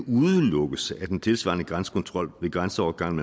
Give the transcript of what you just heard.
udelukkes at en tilsvarende grænsekontrol ved grænseovergangen